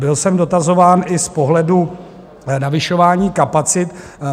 Byl jsem dotazován i z pohledu navyšování kapacit.